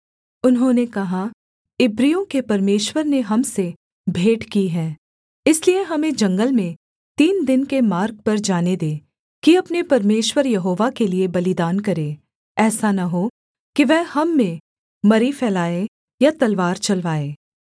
उन्होंने कहा इब्रियों के परमेश्वर ने हम से भेंट की है इसलिए हमें जंगल में तीन दिन के मार्ग पर जाने दे कि अपने परमेश्वर यहोवा के लिये बलिदान करें ऐसा न हो कि वह हम में मरी फैलाए या तलवार चलवाए